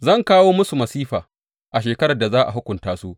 Zan kawo musu masifa a shekarar da za a hukunta su,